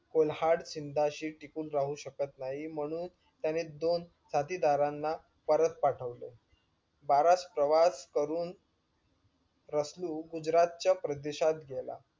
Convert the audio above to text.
कुल्हाड सिंधाशी टिकून राहू शकत नाही म्हणून त्याने दोन साथीदारांना परत पाठवले. बाराच प्रवास करून रसलू गुजरातच्या प्रदेशात गेला